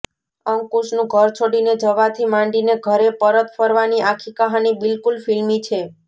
અંકુશનું ઘર છોડીને જવાથી માંડીને ઘરે પરત ફરવાની આખી કહાની બિલકુલ ફિલ્મી છે